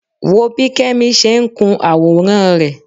Wo bí Kẹ́mi ṣe ń kun àwòrán rẹ